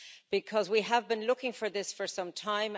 because we have been looking for this for some time.